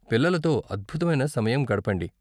పిల్లలతో అద్భుతమైన సమయం గడపండి.